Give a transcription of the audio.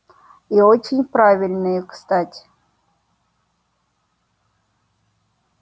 и очень правильные кстати